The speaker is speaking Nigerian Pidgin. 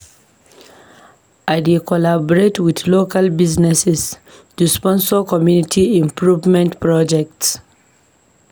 I dey collaborate with local businesses to sponsor community improvement projects.